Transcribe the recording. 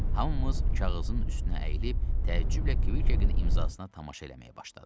Hamımız kağızın üstünə əyilib təəccüblə Kvikin imzasına tamaşa eləməyə başladıq.